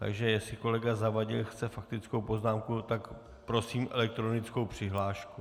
Takže jestli kolega Zavadil chce faktickou poznámku, tak prosím elektronickou přihlášku.